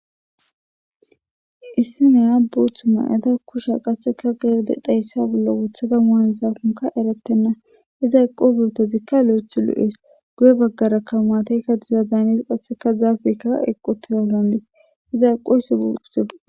issi neya bootha ma'eda kusha qasseka gede deyssa bollo wothada maanzaafonka eretenna iza eqo beotezikka lo7ethi lu7ees guye baggara ka maateykka dizadaanis qasseka zaafekka eqqu tizaolonige iza eqo isse se